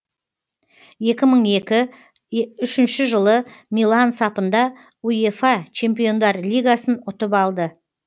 екі мың екі үшінші жылы милан сапында уефа чемпиондар лигасын ұтып алды